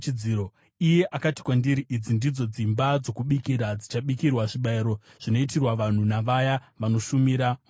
Iye akati kwandiri, “Idzi ndidzo dzimba dzokubikira dzichabikirwa zvibayiro zvinoitirwa vanhu navaya vanoshumira mutemberi.”